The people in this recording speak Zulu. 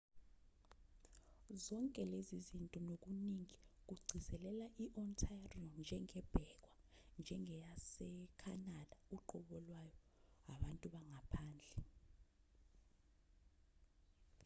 zonke lezi zinto nokuningi kugcizelela i-ontario njengebhekwa njengeyasekhanada uqobo lwayo abantu bangaphandle